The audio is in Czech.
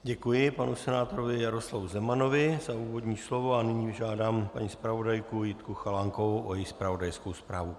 Děkuji panu senátorovi Jaroslavu Zemanovi za úvodní slovo a nyní žádám paní zpravodajku Jitku Chalánkovou o její zpravodajskou zprávu.